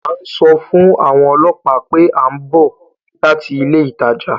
À ń sọ fún àwọn ọlọ́pàá pé à ń bọ̀ láti ilé ìtajà